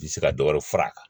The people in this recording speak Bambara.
Tɛ se ka dɔ wɛrɛ fara a kan